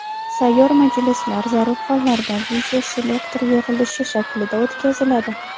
Sayyor majlislar zarur hollarda videoselektor yig‘ilishi shaklida o‘tkaziladi.